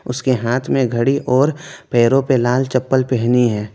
उसके हाथ में घड़ी और पैरों पे लाल चप्पल पहनी है।